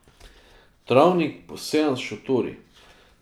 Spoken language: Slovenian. Travnik, posejan s šotori.